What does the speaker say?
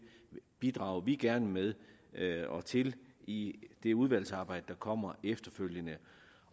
bidrager vi gerne med og til i det udvalgsarbejde der kommer efterfølgende